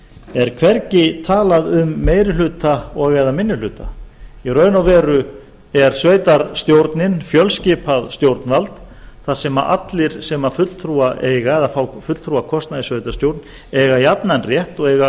er hvergi talað um meiri hluta og eða minni hluta í raun og veru er sveitarstjórnin fjölskipað stjórnvald þar sem allir sem fulltrúa eiga eða fá fulltrúa kosna í sveitarstjórn eiga jafnan rétt og eiga að